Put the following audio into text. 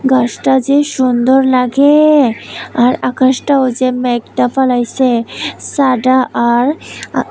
আকাশটা যে সুন্দর লাগে আর আকাশটাও যে মেঘটা ফলাইছে সাডা আর আ--